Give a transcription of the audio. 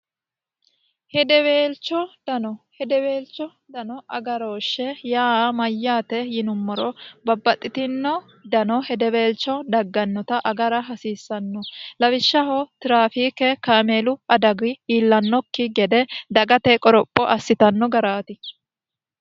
Hedeweelicho dano hedeweelcho dano agarooshshe yaa mayyaate yinummoro babbaxxitino dano hedeweelcho daggannota agara hasiissanno lawishshaho tiraafiike kaameelu adagi iillannokki gede dagate qoropho assitanno garaati